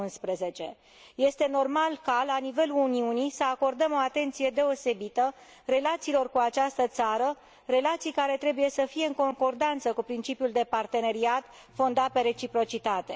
2011. Este normal ca, la nivelul Uniunii, să acordăm o atenție deosebită relațiilor cu această țară, relații care trebuie să fie în concordanță cu principiul de parteneriat, fondat pe reciprocitate.